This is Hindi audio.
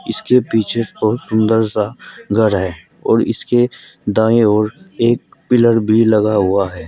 इसके पीछे बहुत सुंदर सा घर है और इसके दाएं और एक पिलर भी लगा हुआ है।